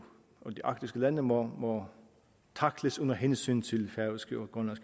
de arktiske lande må tackles under hensyn til færøske og